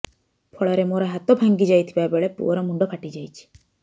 ଫଳରେ ମୋର ହାତ ଭାଙ୍ଗି ଯାଇଥିବା ବେଳେ ପୁଅର ମୁଣ୍ଡ ଫାଟି ଯାଇଛି